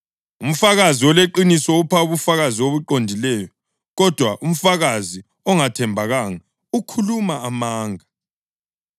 Umfakazi oleqiniso upha ubufakazi obuqondileyo, kodwa umfakazi ongathembekanga ukhuluma amanga.